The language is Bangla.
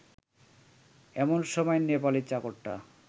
এমন সময় নেপালি চাকরটা